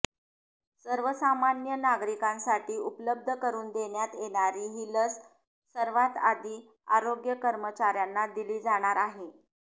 सर्वसामान्य नागरिकांसाठी उपलब्ध करून देण्यात येणारी ही लस सर्वात आधी आरोग्य कर्मचाऱ्यांना दिली जाणार आहे